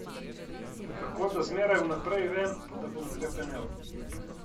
In kako da zmeraj vnaprej vem, da bom hrepenel?